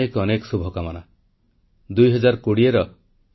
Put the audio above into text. • Khelo India ଗେମ୍ସରେ ମହିଳା କ୍ରୀଡ଼ାବିତଙ୍କ ପ୍ରଦର୍ଶନକୁ ଉଚ୍ଚପ୍ରଶଂସା